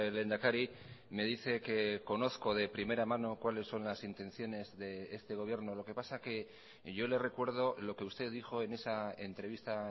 lehendakari me dice que conozco de primera mano cuáles son las intenciones de este gobierno lo que pasa que yo le recuerdo lo que usted dijo en esa entrevista